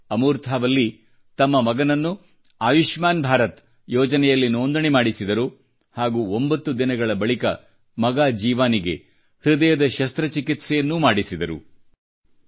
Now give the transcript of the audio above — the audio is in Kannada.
ಆದರೆ ಅಮೂರ್ಥಾ ವಲ್ಲಿ ತಮ್ಮ ಮಗನನ್ನು ಆಯುಷ್ಮಾನ್ ಭಾರತ ಯೋಜನೆಯಲ್ಲಿ ನೋಂದಣಿ ಮಾಡಿಸಿದರು ಹಾಗೂ ಒಂಭತ್ತು ದಿನಗಳ ಬಳಿಕ ಮಗ ಜೀವಾನಿಗೆ ಹೃದಯದ ಶಸ್ತ್ರಚಿಕಿತ್ಸೆಯನ್ನೂ ಮಾಡಿಸಿದರು